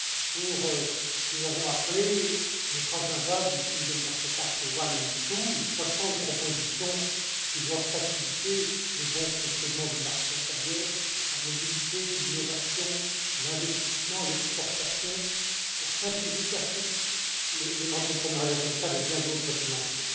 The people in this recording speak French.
pour ce que nous avons appelé l'Acte pour le marché unique I et II, soixante propositions qui doivent faciliter le bon fonctionnement du marché intérieur, la mobilité, l'innovation, l'investissement, l'exportation, la simplification, l'entrepreneuriat social et bien d'autres dimensions.